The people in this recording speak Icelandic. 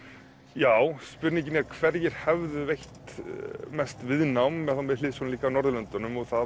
já spurningin er hverjir hefðu veitt mest viðnám þá með hliðsjón líka af Norðurlöndunum og það